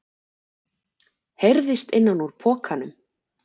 heyrðist innan úr pokanum.